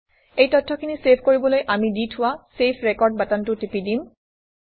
এই তথ্যখিনি চেভ কৰিবলৈ আমি দি থোৱা চেভ ৰেকৰ্ড বাটনটো টিপি দিম